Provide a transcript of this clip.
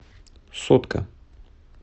сотка